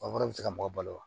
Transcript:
A fana bɛ se ka mɔgɔ balo wa